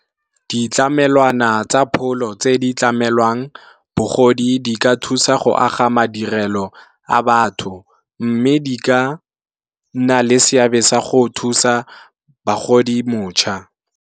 Ditlamelwana tsa pholo tse di tlamelwang bogodi di ka thusa go aga madirelo a batho, mme di ka nna le seabe sa go thusa bagodi motšha.